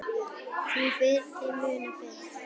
Því fyrr, þeim mun betra.